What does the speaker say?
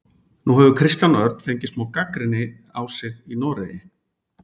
Nú hefur Kristján Örn fengið smá gagnrýni á sig í Noregi?